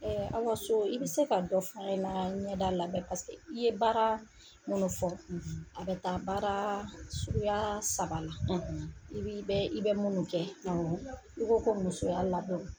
Awa So i bɛ se ka dɔ f'an ɲɛna ɲɛda labɛn i ye baara minnu fɔ a bɛ taa baara suguya saba la i bi bɛ i bɛ minnu kɛ, awɔ, i ko ko musoya labɛnw.